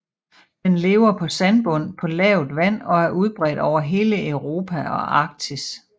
Den lever på sandbund på lavt vand og er udbredt over hele Europa og Arktis